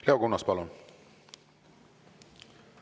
Leo Kunnas, palun!